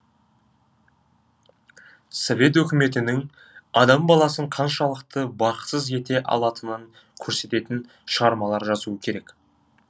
совет өкіметінің адам баласын қаншалықты бақытсыз ете алатынын көрсететін шығармалар жазу керек